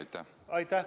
Aitäh!